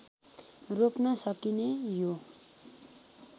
रोप्न सकिने यो